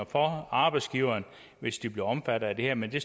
for arbejdsgiverne hvis de bliver omfattet af det her men det